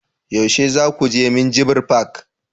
yaushe za ku je minjibir fak?